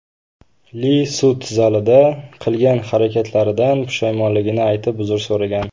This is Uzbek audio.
Li sud zalida qilgan harakatlaridan pushaymonligini aytib, uzr so‘ragan.